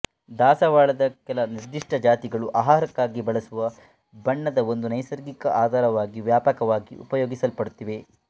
ದಾಸವಾಳದ ಕೆಲ ನಿರ್ದಿಷ್ಟ ಜಾತಿಗಳು ಆಹಾರಕ್ಕಾಗಿ ಬಳಸುವ ಬಣ್ಣದ ಒಂದು ನೈಸರ್ಗಿಕ ಆಧಾರವಾಗಿ ವ್ಯಾಪಕವಾಗಿ ಉಪಯೋಗಿಸಲ್ಪಡುತ್ತಿವೆ